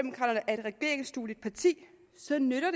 et regeringsdueligt parti så nytter